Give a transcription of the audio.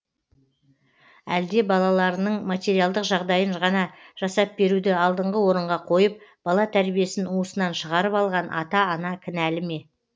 әлде балаларының материалдық жағдайын ғана жасап беруді алдыңғы орынға қойып бала тәрбиесін уысынан шығарып алған ата ана кінәлі ме